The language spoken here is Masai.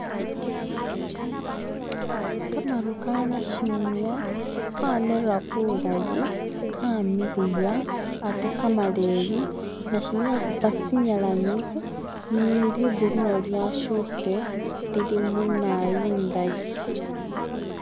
khamaru kha nashimya khanera bulayi kamiliya ate khamaleyi, nashimya a khupa tsinyalanyi ni likhulu nalyo lyashukhile lili munaayu indayi.